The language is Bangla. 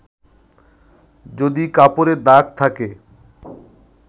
যদি কাপড়ে দাগ থাকে